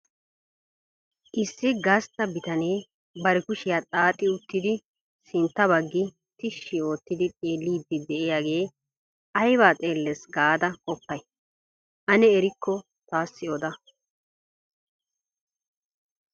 Issi gastta bitanee bari kushiyaa xaaxi uttidi sintta baggi tishshi oottidi xeelidi de'iyaage aybba xeeles gaada qopay? Ane erikko taassi oda.